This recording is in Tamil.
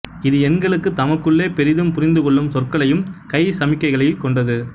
இது எண்களுக்கு தமக்குள்ளே பெரிதும் புரிந்து கொள்ளும் சொற்களையும் கை சமிக்கைகளைக் கொண்டது